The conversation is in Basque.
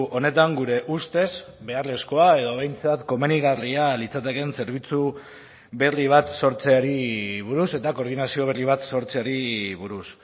honetan gure ustez beharrezkoa edo behintzat komenigarria litzatekeen zerbitzu berri bat sortzeari buruz eta koordinazio berri bat sortzeari buruz